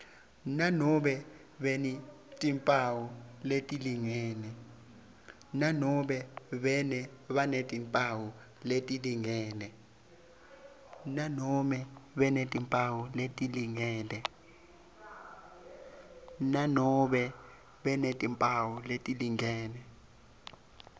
nanobe banetimphawu letilingene